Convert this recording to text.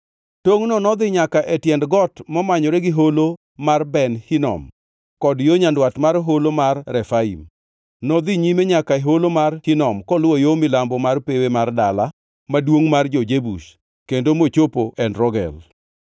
Tongʼno nodhi nyaka e tiend got momanyore gi Holo mar Ben Hinom, kod yo nyandwat mar Holo mar Refaim. Nodhi nyime nyaka e Holo mar Hinom koluwo yo milambo mar pewe mar dala maduongʼ mar jo-Jebus kendo mochopo En Rogel.